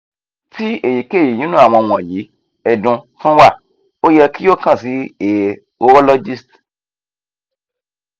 ti eyikeyi ninu awọn wọnyi ẹdun tun wa o yẹ ki o kan si a urologist